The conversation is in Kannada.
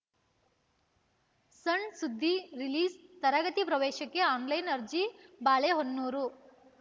ಸಣ್‌ ಸುದ್ದಿ ರಿಲೀಸ್‌ತರಗತಿ ಪ್ರವೇಶಕ್ಕೆ ಆನ್‌ಲೈನ್‌ ಅರ್ಜಿ ಬಾಳೆಹೊನ್ನೂರು